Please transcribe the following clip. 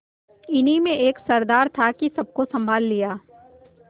इन्हीं में एक सरदार था कि सबको सँभाल लिया